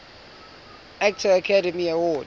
actor academy award